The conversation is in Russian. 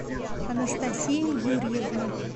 анастасия юрьевна